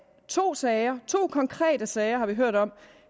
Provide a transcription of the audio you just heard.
to sager to konkrete sager har vi hørt om